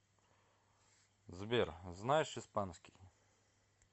сбер знаешь испанский